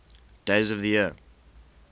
days of the year